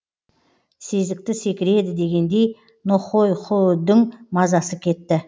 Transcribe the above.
сезікті секіреді дегендей нохойхүүдің мазасы кетті